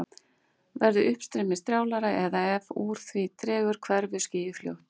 Verði uppstreymið strjálara eða ef úr því dregur hverfur skýið fljótt.